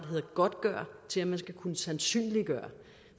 hedder godtgøre til at man skal kunne sandsynliggøre